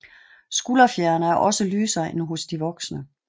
Skulderfjerene er også lysere end hos de voksne